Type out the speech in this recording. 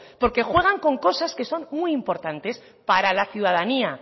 porque juegan con cosas que son muy importantes para la ciudadanía